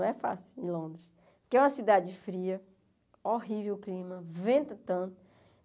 Não é fácil em Londres, que é uma cidade fria, horrível o clima, vento tanto.